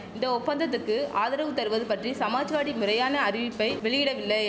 இந்த ஒப்பந்தத்துக்கு ஆதரவு தருவது பற்றி சமாஜ்வாடி முறையான அறிவிப்பை வெளியிடவில்லை